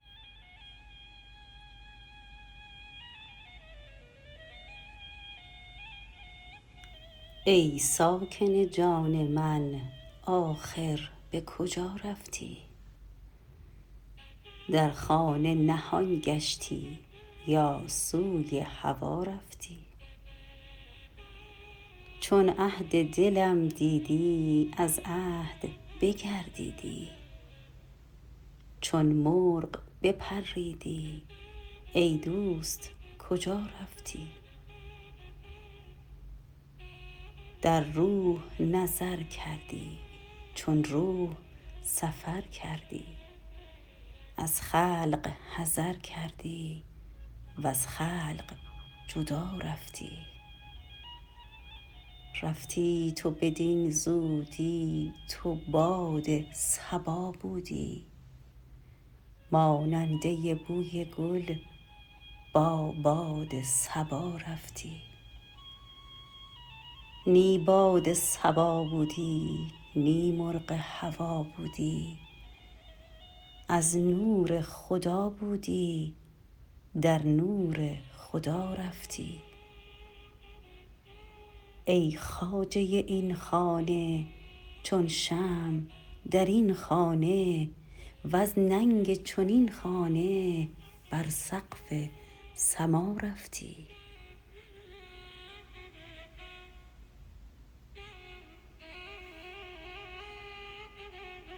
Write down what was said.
ای ساکن جان من آخر به کجا رفتی در خانه نهان گشتی یا سوی هوا رفتی چون عهد دلم دیدی از عهد بگردیدی چون مرغ بپریدی ای دوست کجا رفتی در روح نظر کردی چون روح سفر کردی از خلق حذر کردی وز خلق جدا رفتی رفتی تو بدین زودی تو باد صبا بودی ماننده بوی گل با باد صبا رفتی نی باد صبا بودی نی مرغ هوا بودی از نور خدا بودی در نور خدا رفتی ای خواجه این خانه چون شمع در این خانه وز ننگ چنین خانه بر سقف سما رفتی